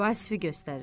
Vasifi göstərir.